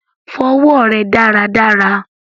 Fọ ọwọ rẹ dáràdárà!